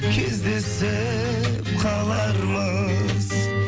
кездесіп қалармыз